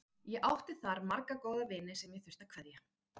Ég átti þar marga góða vini sem ég þurfti að kveðja.